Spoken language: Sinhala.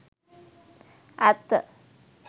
ඇත්ත